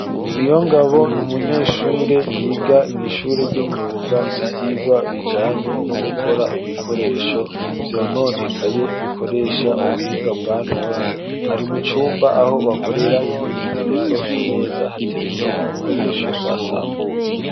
Niyongabo n'umunyeshure yiga mu'ishure ry'imyuga ibyigwa bijanye no gukora ibikoresho byononekaye bikoresha ubuhinga bwanone ari mucumba aho bakorera imyimenyerezo ku meza hateretse ibikoresho basambuye.